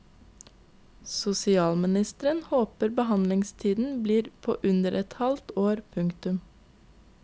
Sosialministeren håper behandlingstiden blir på under et halvt år. punktum